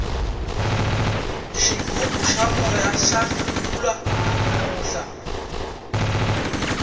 xigubu xa moya xa ntlurhuka namuntlha